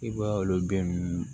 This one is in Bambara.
I b'a olu den ninnu